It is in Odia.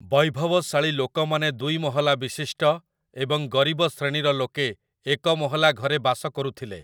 ବୈଭବଶାଳୀ ଲୋକମାନେ ଦୁଇମହଲା ବିଶିଷ୍ଟ ଏବଂ ଗରିବ ଶ୍ରେଣୀର ଲୋକେ ଏକ ମହଲା ଘରେ ବାସ କରୁଥିଲେ ।